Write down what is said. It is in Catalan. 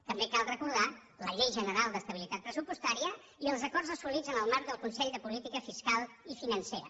també cal recordar la llei general d’estabilitat pressupostària i els acords assolits en el marc del consell de política fiscal i financera